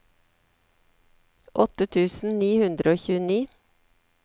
åtte tusen ni hundre og tjueni